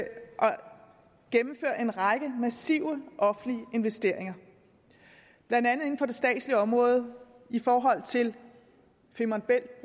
gennemføre en række massive offentlige investeringer blandt andet inden for det statslige område i forhold til femern bælt